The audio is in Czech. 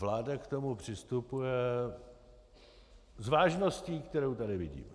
Vláda k tomu přistupuje s vážností, kterou tady vidím.